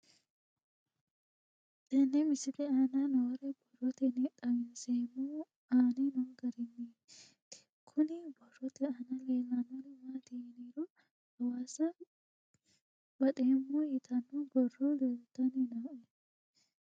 Tenne misile aana noore borroteni xawiseemohu aane noo gariniiti. Kunni borrote aana leelanori maati yiniro hawassa baxeemo yitaano borro leeltanni nooe.